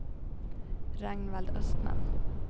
Ragnvald Östman